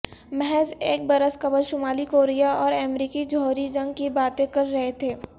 محض ایک برس قبل شمالی کوریا اور امریکہ جوہری جنگ کی باتیں کر رہے تھے